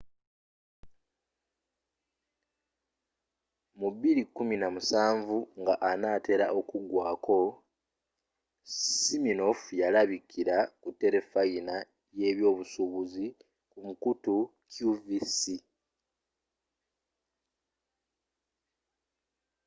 mu 2017 nga anaatera okugwako siminoff ya labikira ku terefayina ye byobusuubuzi ku mukutu qvc